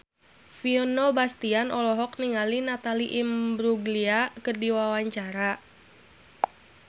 Vino Bastian olohok ningali Natalie Imbruglia keur diwawancara